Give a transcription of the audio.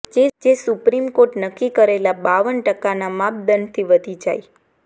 જે સુપ્રીમ કોર્ટે નક્કી કરેલા બાવન ટકાના માપદંડથી વધી જાય